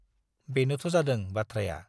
बेनोथ' जादों बाथ्राया।